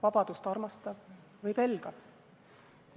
Vabadust armastav või pelgav?